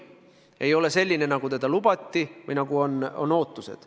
See ei ole selline, nagu lubati või nagu on ootused.